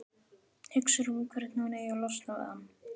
Hugsar um hvernig hún eigi að losna við hann.